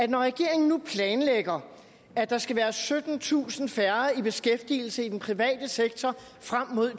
når regeringen nu planlægger at der skal være syttentusind færre i beskæftigelse i den private sektor frem mod